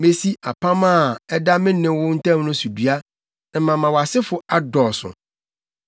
Mesi apam a ɛda me ne wo ntam no so dua, na mama wʼasefo adɔɔso.”